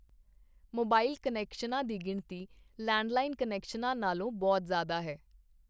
Mobile ਕੁਨੈਕਸ਼ਨਾਂ ਦੀ ਗਿਣਤੀ ਲੈਂਡਲਾਈਨ ਕੁਨੈਕਸ਼ਨਾਂ ਨਾਲੋਂ ਬਹੁਤ ਜ਼ਿਆਦਾ ਹੈ।